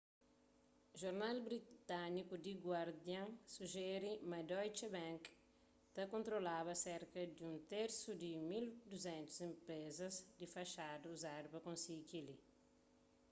jornal britániku the guardian sujeri ma deutsche bank ta kontrolaba serka di un tersu di 1200 enprezas di faxada uzadu pa konsigi kel-li